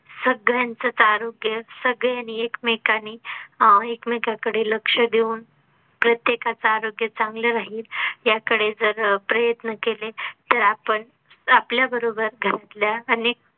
सगळ्यांचच आरोग्य सगळ्यांनी आणि एकमेकांनी अह एकमेकांकडे लक्ष देऊन प्रत्येकाच आरोग्य चांगले राहील. ह्याकडे जर अह प्रयत्न केले तर आपण आपल्या बरोबर घरातल्याअनेक